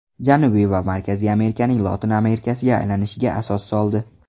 Janubiy va markaziy Amerikaning Lotin Amerikasiga aylanishiga asos soldi.